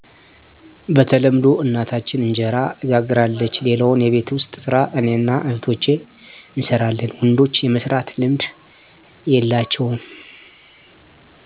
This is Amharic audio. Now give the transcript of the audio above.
በተለምዶ እናታችን እንጀራ ትጋግራለች ሌላውን የቤት ውስጥ ሰራ እኔና እህቶቸ እንሰራለን ወንዶች የመስራት ልምድ የላቸውም